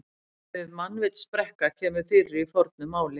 Orðið mannvitsbrekka kemur fyrir í fornu máli.